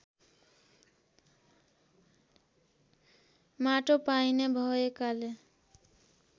माटो पाइने भएकाले